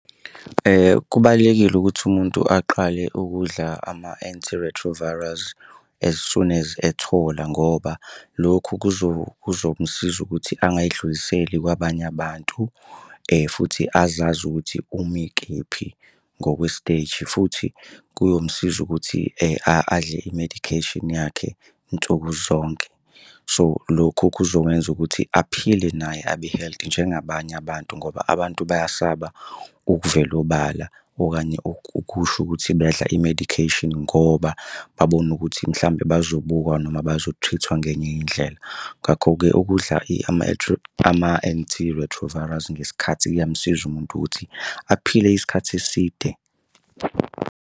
Kubalulekile ukuthi umuntu aqale ukudla ama-antiretrovirals as soon as ethola ngoba lokhu kuzomusiza ukuthi angayidluliseli kwabanye abantu futhi azazi ukuthi umi kephi ngokwesiteji futhi kuyomsiza ukuthi adle i-medication yakhe nsuku zonke. So, lokho kuzongenza ukuthi aphile naye abe-health njengabanye abantu ngoba abantu bayasaba ukuvela obala, okanye ukusho ukuthi badla i-medication ngoba babona ukuthi mhlawumbe bazobukwa noma bazo-treat-wa ngenye indlela. Ngakho-ke ukudla ama-antiretrovirals ngesikhathi kuyamsiza umuntu ukuthi aphile isikhathi eside.